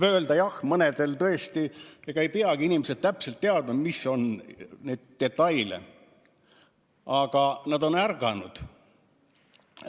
Ega ei peagi inimesed täpselt teadma, mis on need detailid, aga nad on ärganud.